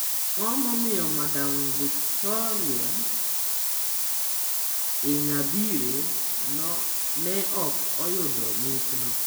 Ang'o momiyo Madam Victoire Ingabire ne ok oyudo mich no?